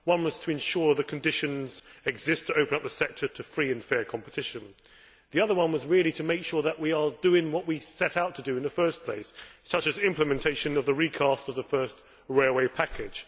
One was to ensure that the conditions exist to open up the sector to free and fair competition. The other one was, really, to make sure that we are doing what we set out to do in the first place, such as implementation of the recast of the first railway package